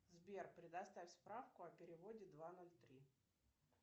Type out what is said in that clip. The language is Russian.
сбер предоставь справку о переводе два ноль три